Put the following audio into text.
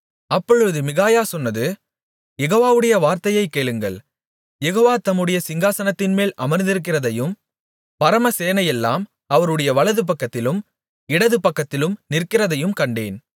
அப்பொழுது மிகாயா சொன்னது யெகோவாவுடைய வார்த்தையைக் கேளுங்கள் யெகோவா தம்முடைய சிங்காசனத்தின்மேல் அமர்ந்திருக்கிறதையும் பரமசேனையெல்லாம் அவருடைய வலதுபக்கத்திலும் இடதுபக்கத்திலும் நிற்கிறதையும் கண்டேன்